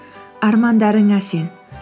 армандарыңа сен